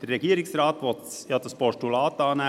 Der Regierungsrat will das Postulat ja annehmen.